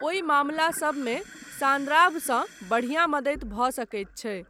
ओहि मामलासभमे सान्द्राभसँ बढ़िया मदति भऽ सकैत छै।